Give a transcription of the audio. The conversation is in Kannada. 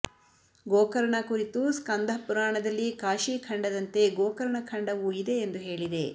ಗೋಕರ್ಣ ಕುರಿತು ಸ್ಕಂಧ ಪುರಾಣದಲ್ಲಿ ಕಾಶೀ ಖಂಡದಂತೆ ಗೋಕರ್ಣ ಖಂಡವೂ ಇದೆ ಎಂದು ಹೇಳಿದೆ